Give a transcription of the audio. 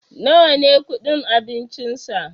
nawa ne kudin abincinsa?